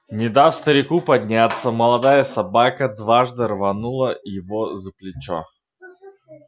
не дав старику подняться молодая собака дважды рванула его за плечо